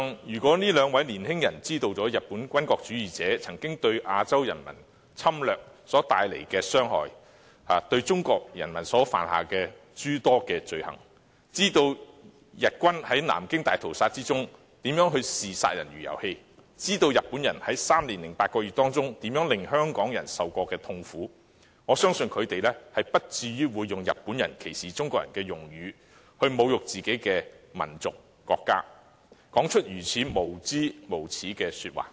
如果兩位年輕人知道日本軍國主義者當年侵略亞洲人民所帶來的傷害及對中國人民犯下諸多罪行，以及知道日軍在南京大屠殺中如何視殺人如遊戲，日本人在三年零八個月當中如何令香港人受苦，我相信他們不會用日本人歧視中國人的用語來侮辱自己的民族和國家或說出如此無知、無耻的話。